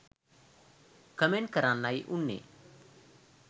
Comment කරන්නයි උන්නේ.